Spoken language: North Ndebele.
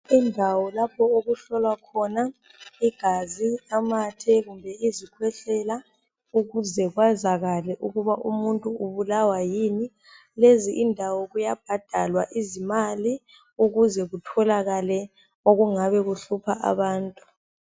Indawo lapho okuhlolwa khona igazi, amathe kumbe izikhwehlela ukuze kwazakale ukuba umuntu ubulawa yini. Lezi indawo kuyabhadalwa izimali ukuze kutholakale okungabe kuhlupha abantu.